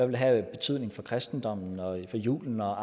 vil have betydning for kristendommen og julen og